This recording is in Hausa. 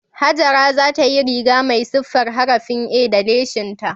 Hajara za ta yi riga mai siffar harafin A da lesinta